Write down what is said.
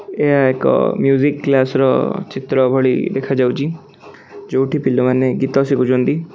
ଏହା ଏକ music class ର ଚିତ୍ର ଭଳି ଦେଖାଯାଉଚି ଯୋଉଠି ପିଲାମାନେ ଗୀତ ଶିଖୁଚନ୍ତି।